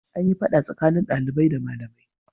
An yi fada tsakanin dalibai da malamai.